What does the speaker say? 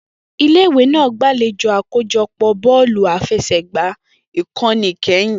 Ile-iwe naa gbalejo akojọpọ bọ̀ọ̀lú àfẹsẹ̀gbá Ikoni Ikẹhin.